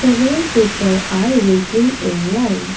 several people are waiting in line.